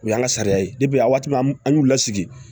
O y'a sariya ye a waati ma an y'u lasigi